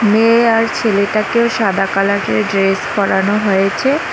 মেয়ে আর ছেলেটাকেও সাদা কালার -এর ড্রেস পরানো হয়েচে।